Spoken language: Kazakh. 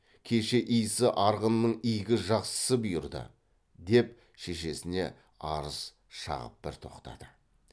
кеше исі арғынның игі жақсысы бұйырды деп шешесіне арыз шағып бір тоқтады